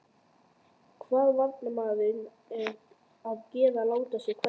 Hvað á varnarmaðurinn að gera láta sig hverfa?